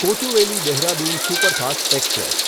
Kochuveli Dehradun superfast express